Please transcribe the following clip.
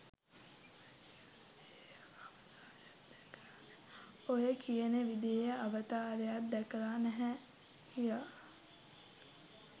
ඔය කියන විදිහේ අවතාරයක් දැකලා නැහැ කියා.